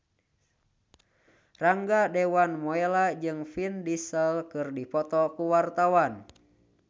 Rangga Dewamoela jeung Vin Diesel keur dipoto ku wartawan